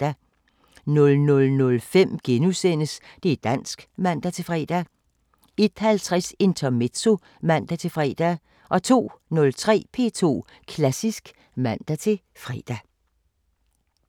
00:05: Det´ dansk *(man-fre) 01:50: Intermezzo (man-fre) 02:03: P2 Klassisk (man-fre)